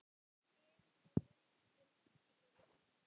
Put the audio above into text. Berin eru rauðgul til rauð.